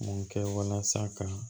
Mun kɛ walasa ka